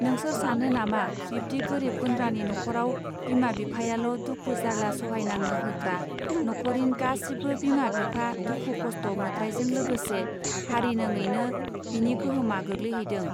नोंसोर सानो नामा बिब्दि गोरिब गुन्द्रानि न'खराब बिमा बिफायाल दुखु जार्ला सहायनाङो होत्रा न'खरिन गासिबो बिमा बिफा दुखु खस्थ मोत्रायजों लोगोसे हारिनोङैनो बिनि गोहोमा गोग्लैहैदों.